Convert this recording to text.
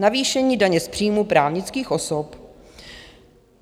Navýšení daně z příjmů právnických osob.